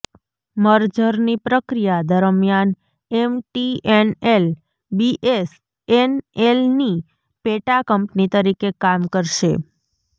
મર્જરની પ્રક્રિયા દરમિયાન એમટીએનએલ બીએસએનએલની પેટા કંપની તરીકે કામ કરશે